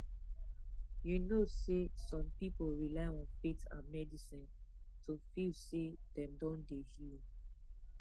you know sehsome people rely on faith and medicine to feel seh them don dey healed